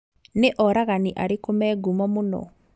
Nĩ oragani arĩku me ngumo mũno